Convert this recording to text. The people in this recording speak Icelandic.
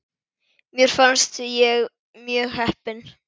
Mér fannst ég mjög heppin.